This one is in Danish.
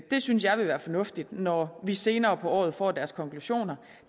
det synes jeg vil være fornuftigt når vi senere på året får deres konklusioner